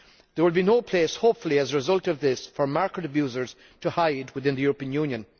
There will be no place, hopefully, as a result of this for market abusers to hide within the European Union.